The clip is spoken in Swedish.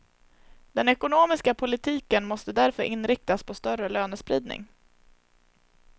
Den ekonomiska politiken måste därför inriktas på större lönespridning.